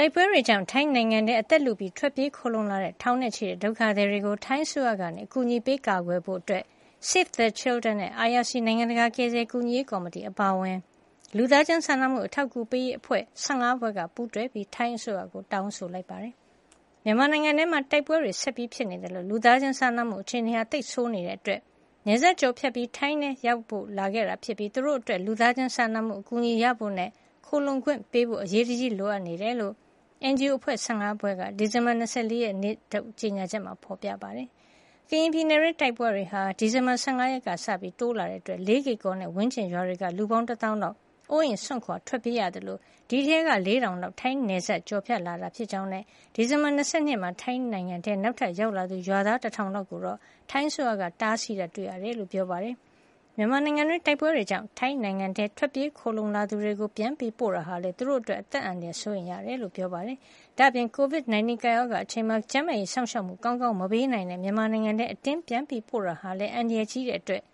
ိုက်ပွဲတွေကြောင့် ထိုင်းနိုင်ငံထဲ အသက်လုပြီးထွက်ပြေးခိုလှုံလာတဲ့ ထောင်နဲ့ချီတဲ့ ဒုက္ခသည်တွေကို ထိုင်းအစိုးရက အကူညီပေး ကာကွယ်ဖို့ Save the Children နဲ့ IRC နိုင်ငံတကာကယ်ဆယ်ကူညီရေးကော်မတီ အပါအဝင် လူသားချင်းစာနာမှု အထောက်ကူပေးရေး အဖွဲ့ ၁၅ ဖွဲ့က ပူးတွဲပြီး ထိုင်းအစိုးရကို တောင်းဆိုလိုက်ပါတယ်။ မြန်မာနိုင်ငံထဲမှာ တိုက်ပွဲတွေဆက်ဖြစ်နေသလို လူသားချင်းစာနာမှုအခြေနေ ဆိုးဝါးနေတာကြောင့် နယ်စပ်ကျော်ဖြတ်ပြီး ထိုင်းနိုင်ငံထဲလာရောက်ဖို့ လိုလာတာဖြစ်ပြီး သူတို့အတွက် လူသားချင်းစာနာမှုအကူညီရဖို့နဲ့ ခိုလှုံခွင့်ပေးဖို့ အရေးတကြှီးလိုအပ်နေကြောင်းလည်း NGO အဖွဲ့ ၁၅ ဖွဲ့က ဒီဇင်ဘာလ ၂၄ ရက်နေ့ထုတ် ကြေညာချက်မှာ ဖေါ်ပြထားပါတယ်။ ကရင်ပြည်နယ်တွင်း တိုက်ပွဲတွေဟာ ဒီဇင်ဘာလ ၁၅ ရက်ကစလို့ တိုးလာတာကြောင့် လေးကေကော်နဲ့ ဝန်းကျင်ရွာတွေက လူပေါင်း တသောင်းလောက် အိုးအိမ်စွန့်ခွါ ထွက်ပြေးကြရသလို အဲဒီထဲက ၄၀၀၀ လောက် ထိုင်းနယ်စပ်ကျော်ဖြတ်လာတာ ဖြစ်ကြောင်းနဲ့ ဒီဇင်ဘာလ ၂၂ ရက်နေ့မှာ ထိုင်းနိုင်ငံထဲနောက်ထပ်ရောက်လာသူ ရွာသား တထောင်လောက်ကိုတော့ ထိုင်းအစိုးရက တားဆီးတာ တွေ့ရကြောင်း ပြောပါတယ်။ မြန်မာနိုင်ငံတွင်း တိုက်ပွဲတွေကြောင့် ထိုင်းနိုင်ငံထဲ ထွက်ပြေးခိုလှုံလာသူတွေကို ပြန်ပို့တာဟာလည်း သူတု့ိအတွက် အသက်အန္တရာယ်စိုးရိမ်ရတယ်လို့ပြောပါတယ်။ ဒါ့အပြင် ကိုဗစ် ၁၉ ကပ်ရောဂါ အချိန်မှာ ကျန်းမာရေးစောင့်ရှောက်မှု ကောင်းကောင်း မပေးနိုင်တဲ့မြန်မာနိုင်ငံထဲ အတင်းပြန်ပို့တာဟာလည်း အန္တရာယ်ကြီးတာကြောင့်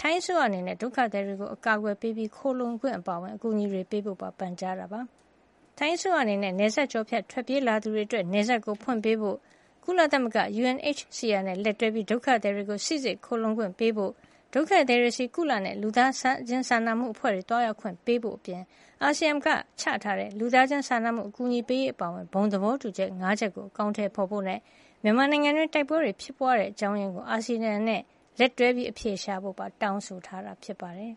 ထိုင်းအစိုးရအနေနဲ့ ဒုက္ခသည်တွေကို အကာကွယ်ပေးပြီး ခိုလှုံခွင့်အပါအဝင် အကူညီတွေ ပေးဖို့ပါ ပန်ကြားထားတာပါ။ ထိုင်းအစိုးရအနေနဲ့ နယ်စပ်ကျော်ဖြတ် ထွက်ပြေးလာသူတွေအတွက် နယ်စပ်ကိုဖွင့်ပေးဖို့၊ ကုလသမဂ္ဂ UNHCR နဲ့ လက်တွဲပြီး ဒုက္ခသည်တွေကို စီစစ်ခိုလှုံခွင့်ပေးဖို့၊ ဒုက္ခသည်တွေဆီ ကုလနဲ့ လူသားချင်းစာနာမှုအဖွဲ့တွေ သွားရောက်ခွင့်ပေးဖို့အပြင် အာဆီယံက ချထားတဲ့ လူသားချင်းစာနာမှုအကူညီပေးရေးအပါအဝင် ဘုံသဘောတူညီချက် ၅ ချက်ကို အကောင်ထည်ဖေါ်ဖို့ နဲ့ မြန်မာနိုင်ငံတွင်း တိုက်ပွဲတွေဖြစ်ပွါးရတဲ့ အကြောင်းရင်းကို အာဆီယံနဲ့လက်တွဲ အဖြေရှာဖို့ပါ တောင်းဆိုထားတာ ဖြစ်ပါတယ်။